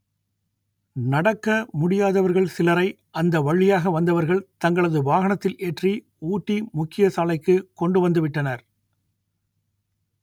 நட‌க்க முடியாதவ‌ர்க‌ள் ‌சிலரை அ‌ந்த வ‌ழியாக வ‌ந்தவ‌ர்க‌ள் த‌ங்களது வாகன‌த்‌தி‌ல் ஏ‌ற்‌றி ஊ‌ட்டி மு‌க்‌கிய சாலை‌க்கு கொ‌ண்டு வ‌ந்து ‌வி‌ட்டன‌ர்